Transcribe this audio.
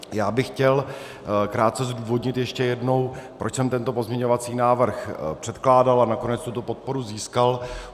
Já bych chtěl krátce zdůvodnit ještě jednou, proč jsem tento pozměňovací návrh předkládal a nakonec tuto podporu získal.